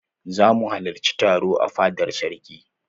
Za mu halarci taro a fadar sarki.